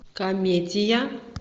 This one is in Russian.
комедия